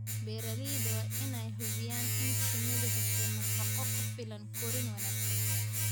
Beeralayda waa inay hubiyaan in shinnidu hesho nafaqo ku filan korriin wanaagsan.